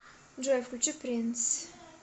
джой включи принс